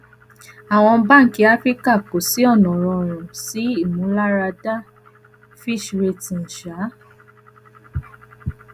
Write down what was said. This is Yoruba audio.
awọn banki afirika ko si ọna rọrun si imularada fitch ratings um